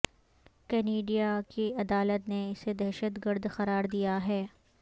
Canada کی عدالت نے اسے دہشت گرد قرار دیا ہے